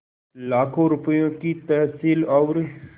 लाखों रुपये की तहसील और